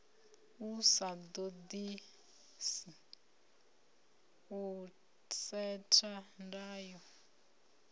sa ḓaḓisi u setha ndayo